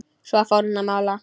Svo fór hann að mála.